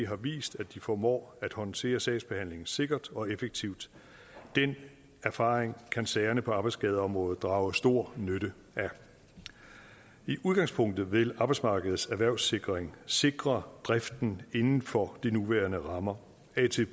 har vist at de formår at håndtere sagsbehandlingen sikkert og effektivt den erfaring kan sagerne på arbejdsskadeområdet drage stor nytte af i udgangspunktet vil arbejdsmarkedets erhvervssikring sikre driften inden for de nuværende rammer